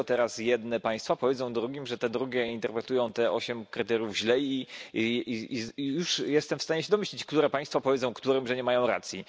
Dlaczego teraz jedne państwa powiedzą drugim, że te drugie interpretują te 8 kryteriów źle? I już jestem w stanie się domyślić, które państwa powiedzą którym, że nie mają racji.